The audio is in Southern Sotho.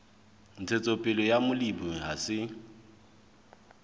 ntshetsopele ya molemi ha se